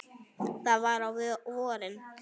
Það var á vorin.